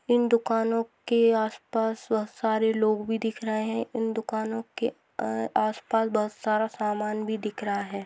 इन दुकानो के आसपास बहुत सारे लोग भी दिख रहे है। इन दुकानो के अ आसपास बहुत सारा सामान भी दिख रहा है।